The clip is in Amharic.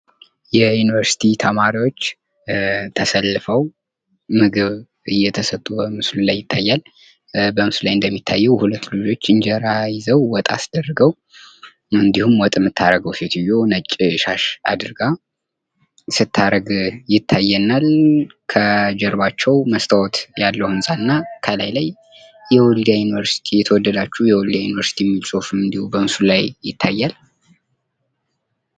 የዩኒቨርሲቲ ተማሪዎች ተሰልፈው ምግብ እየተሰጡ በምስሉ ላይ ይታያል። በምስሉ ላይ እንደሚታየው ወንዶች እንጀራ ይዘው ወጥ አስደርገው እንዲሁም ወጥ የምታረገው ሴትዮ ነጭ ሻሽ አድርጋ ስታረግ ይታየናል። ከጀርባቸው መስታወት ያለው አምሳል ነው። ከላይ የወልዲያ ዩኒቨርሲቲ፤ የተወደዳችሁ የወልዲያ ዩኒቨርሲቲ ሚል ጽሁፍ እንዲሁም በምስሉ ላይ ይታያል።